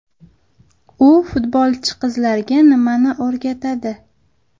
U futbolchi qizlarga nimani o‘rgatadi?